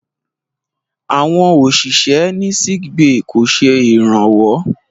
Àwọn òṣìṣẹ́ ní sickbay kò ṣe ìrànwọ́.